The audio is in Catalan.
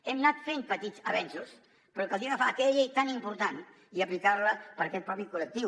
hem anat fent petits avenços però caldria agafar aquella llei tan important i aplicar la per a aquest mateix col·lectiu